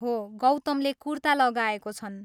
हो, गौतमले कुर्ता लगाएको छन्।